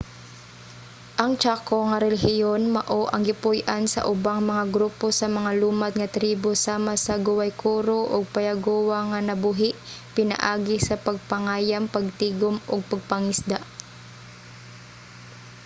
ang chaco nga rehiyon mao ang gipuy-an sa ubang mga grupo sa mga lumad nga tribo sama sa guaycurú ug payaguá nga nabuhi pinaagi sa pagpangayam pagtigum ug pagpangisda